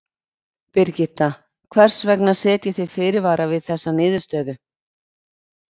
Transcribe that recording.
Birgitta, hvers vegna setjið þið fyrirvara við þessa niðurstöðu?